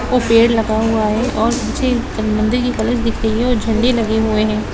और पेड़ लगा हुआ है और नीचे मंदिर की कलश दिख रही है और झंडे लगे हुए है।